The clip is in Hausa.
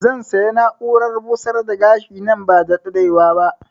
Zan saya na'urar busar da gashi nan ba da daɗewa ba